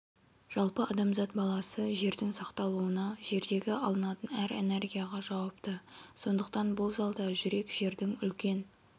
жалпы адамзат баласы жердің сақталуына жердегі алынатын әр энергияға жауапты сондықтан бұл залда жүрек жердің үлкен